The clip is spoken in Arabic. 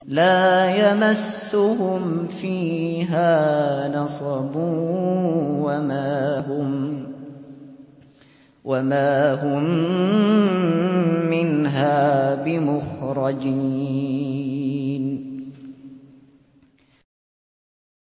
لَا يَمَسُّهُمْ فِيهَا نَصَبٌ وَمَا هُم مِّنْهَا بِمُخْرَجِينَ